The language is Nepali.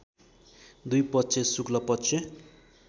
दुई पक्ष शुक्ल पक्ष